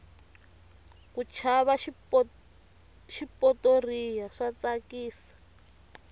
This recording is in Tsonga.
ku chaya xipotoriya swa tsakisa